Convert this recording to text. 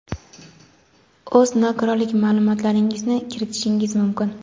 o‘z nogironlik ma’lumotlaringizni kiritishingiz mumkin.